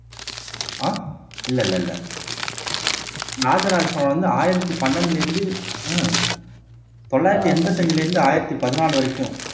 ஆஹ் இல்லை இல்லை இல்லை ராஜராஜ சோழன் வந்து ஆயிரத்தி பன்னெண்டிலிருந்து தொள்ளாயிரத்தி எண்பத்தி அஞ்சிலேருந்து ஆயிரத்தி பதினாலு வரைக்கும்